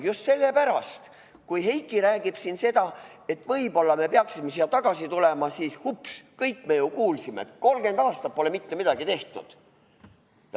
Just selle pärast, kui Heiki räägib siin, et võib-olla me peaksime siia tagasi tulema, siis ups, kõik me ju kuulsime, et 30 aastat pole mitte midagi tehtud.